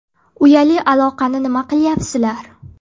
Uyali aloqani nima qilyapsizlar?